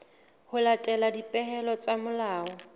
ho latela dipehelo tsa molao